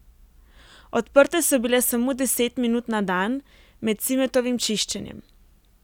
Odprte so bile samo deset minut na dan, med Cimetovim čiščenjem.